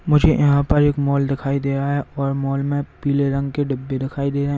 मुझे यहां पर एक मॉल दिखाई दे रहा है और मॉल में पीले रंग के डिब्बे दिखाई दे रहे हैं।